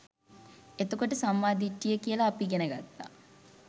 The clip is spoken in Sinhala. එතකොට සම්මා දිට්ඨිය කියල අපි ඉගෙන ගත්තා